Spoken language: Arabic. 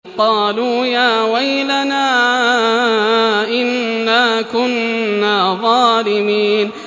قَالُوا يَا وَيْلَنَا إِنَّا كُنَّا ظَالِمِينَ